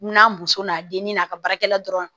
Mun na muso n'a dennin n'a ka baarakɛla dɔrɔn